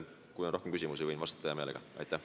Kui on veel küsimusi, võin hea meelega vastata.